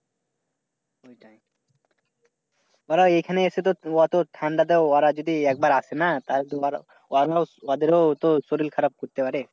তারা এখানে এসে তো অত ঠান্ডাতে ওরা যদি একবার আসে না তাহলে তোমার ওদের ও তো শরীর খারাপ করতে পারে।